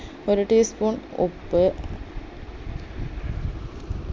ഒരു tea spoon ഉപ്പ്